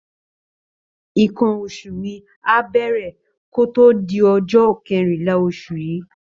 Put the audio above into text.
Nǹkan oṣù mi á bẹ̀rẹ̀ kó tó di ọjọ́ kẹrìnlá oṣù yìí